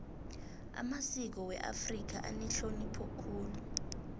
amasiko weafrika anehlonipho khulu